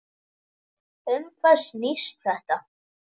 Um hvað snýst þetta?